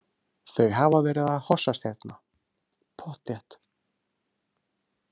Þau hafa verið að hossast hérna, pottþétt.